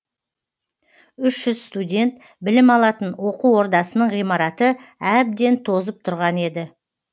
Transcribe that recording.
үш жүз студент білім алатын оқу ордасының ғимараты әбден тозып тұрған еді